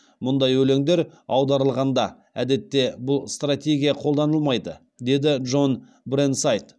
мұндай өлеңдер аударылғанда әдетте бұл стратегия қолданылмайды деді джон бренсайд